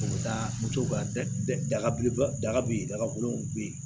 U bɛ taa moto ka daga daga bɛ yen dagakolon bɛ yen